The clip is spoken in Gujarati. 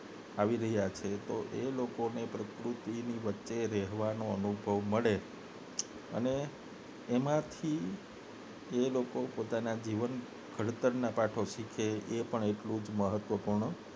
આવી રહ્યા છે તો એ લોકોને પ્રકૃતિ વચ્ચે રહેવાનો અનુભવ મળે અને એમાંથી એ લોકો પોતાના જીવન ના ઘડતર ના પાઠો શીખવે એ પણ એટલું જ મહત્વ પૂર્ણ